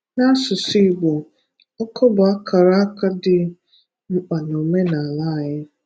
Na asụsụ Igbo, ọkọ bụ àkàràkà dị mkpa nke omenala anyị.